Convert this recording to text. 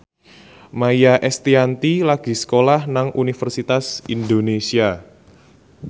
Maia Estianty lagi sekolah nang Universitas Indonesia